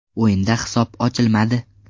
O‘yinda hisob ochilmadi.